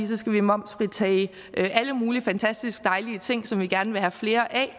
så skal vi momsfritage alle mulige fantastisk dejlige ting som vi gerne vil have flere af